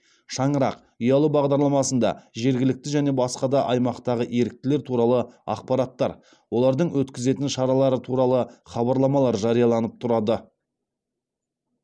шаңырақ ұялы бағдарламасында жергілікті және басқа да аймақтағы еріктілер туралы ақпараттар олардың өткізетін шаралары туралы хабарламалар жарияланып тұрады